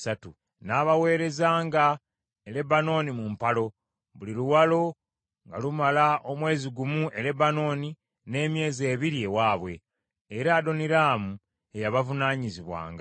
N’abaweerezanga e Lebanooni mu mpalo; buli luwalo nga lumala omwezi gumu e Lebanooni n’emyezi ebiri ewaabwe, era Adoniraamu ye yabavunaanyizibwanga.